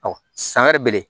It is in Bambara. san wɛrɛ bɛ ye